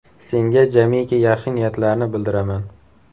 Senga jamiki yaxshi niyatlarni bildiraman.